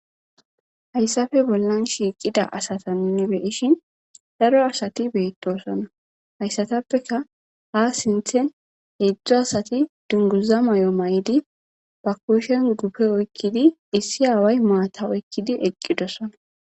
Hayssafe bollan shiiqida asata minnibeishin daro asati beettosona hayssatappeka ha sinthen heedzdzu asati dunguza may7o may7di ba kushen gupe oykkidi issi aaway maata oykkidi eqqidosona.